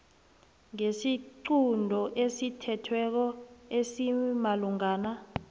ngesiqunto esithethweko esimalungana